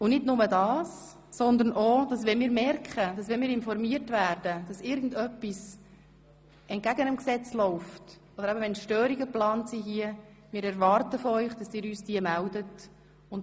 Und nicht nur das, sondern wir erwarten ebenfalls von Ihnen, dass Sie uns geplante Störungen des Ratsbetriebs melden, wenn Sie Informationen erhalten, wonach dergleichen geplant ist oder wenn Sie merken, dass etwas entgegen dem Gesetz läuft.